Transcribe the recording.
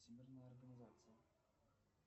всемирная организация